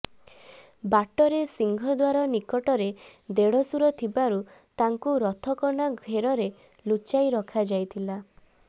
ବାଟରେ ସିଂହଦ୍ୱାର ନିକଟରେ ଦେଢ଼ଶୂର ଥିବାରୁ ତାଙ୍କୁ ରଥକନା ଘେରରେ ଲୁଚାଇ ରଖାଯାଇଥିଲା